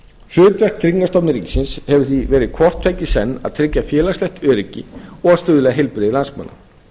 hlutverk tryggingastofnunar ríkisins hefur því verið hvort tveggja í senn að tryggja félagslegt öryggi og stuðla að heilbrigði landsmanna